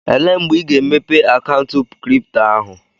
Elee mgbe ị ga-emepe akaụntụ kripto ahụ?